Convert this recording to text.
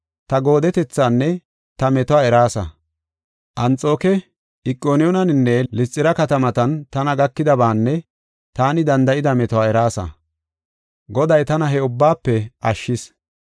ta goodetethanne ta metuwa eraasa. Anxooke, Iqoniyoonen, Lisxira katamatan tana gakidabaanne taani danda7ida metuwa eraasa; Goday tana he ubbaafe ashshis.